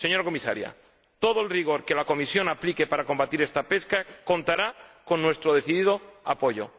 Señora Comisaria, todo el rigor que la Comisión aplique para combatir esta pesca contará con nuestro decidido apoyo.